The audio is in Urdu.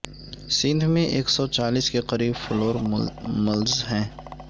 سندھ میں ایک سو چالیس کے قریب فلور ملز ہیں